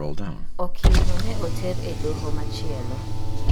Okilno ne oter e doho machielo.